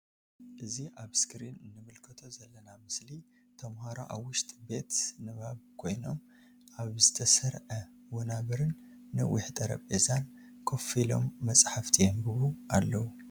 እዚ ኣብ እስክሪን እንምልከቶ ዘለና ምስሊ ተምሃሮ ኣብ ውሽጢ ቤት ንባብ ኮይኖም ኣብ ዝተሰርዐ ወናበር ን ነዊሕ ጠረጲዛን ከፍ ኢሎም መጽሓፍቲ የንብቡ ኣለዉ።